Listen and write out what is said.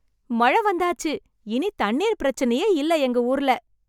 மழ வந்தாச்சு, இனி தண்ணீர் பிரச்சினையே இல்ல, எங்க ஊர்ல.